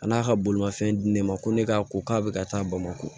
A n'a ka bolimafɛn di ne ma ko ne k'a ko k'a bɛ ka taa bamakɔ